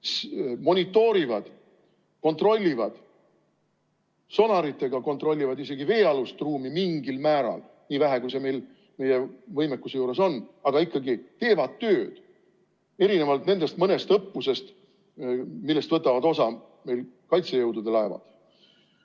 Need monitoorivad, kontrollivad sonaritega mingil määral isegi veealust ruumi – nii vähe, kui see meil meie võimekuse juures võimalik on –, aga ikkagi teevad tööd, erinevalt nendest mõnest õppusest, millest võtavad osa meil kaitsejõudude laevad.